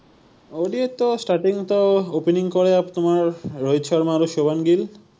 ODI তো starting তো opening কৰে, তোমাৰ ৰোহিত শৰ্মা আৰু শোভম গিল